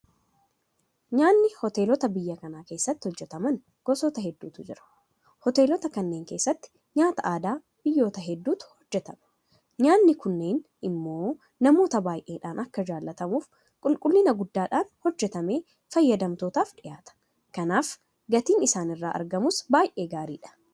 Nyaanni Hoteelota biyya kanaa keessatti hojjetaman gosoota hedduutu jira. Hoteelota kanneen keessatti nyaata aadaa biyyoota hedduutu hojjetama. Nyaanni kunneen immoo namoota baay'eedhaan akka jaalatamuuf qulqullina guddaadhaan hojjetamee fayyadamtootaaf dhiyaata. Kanaaf gatiin isaan irraa argamuus baay'ee gaariidha.